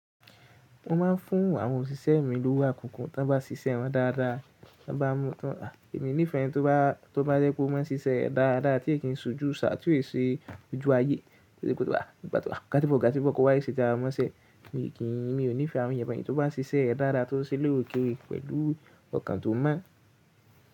Mo máa ń fún àwọn òṣìṣẹ́ mi lówó àkùkù tí wọ́n bá ṣiṣẹ́ wọn dáadáa. Tan bá mo, emi ní ifẹ́ ẹni tó bá jẹ́ pé ó máa ń ṣiṣẹ́ re dáadáa, tí ẹ kì í ṣojú Ṣà, tí ò ṣe ójú ayé, tí ẹ kì í pé mo gbà tó ga tí gbogbo ko wa ṣe jára mọ́ṣẹ́. Mi ò ní ifẹ́ àwọn ẹyà pẹ̀lú tí wọ́n bá ṣiṣẹ́ dáadáa, tí wọ́n ṣe lórí òkèrè pẹ̀lú ọkàn tó mọ́.